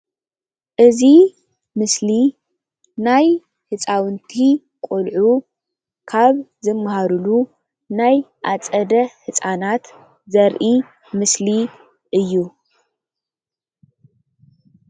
እዚ ምስሊ ናይ ህፃውንቲ ቆልዑ ናይ ዝመሃርሉ ኣፀደ ህፃናት ዘርኢ ምስሊ እዩ።